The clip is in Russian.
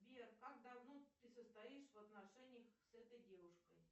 сбер как давно ты состоишь в отношениях с этой девушкой